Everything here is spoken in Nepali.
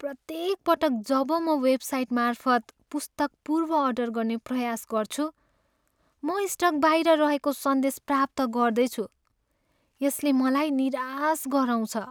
प्रत्येक पटक जब म वेबसाइटमार्फत पुस्तक पूर्व अर्डर गर्ने प्रयास गर्छु, म स्टकबाहिर रहेको सन्देश प्राप्त गर्दैछु, यसले मलाई निराश गराउँछ।